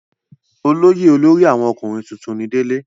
olóyè olórí àwọn ọkùnrin tuntun ni délé